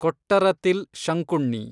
Kottarathil Shankunni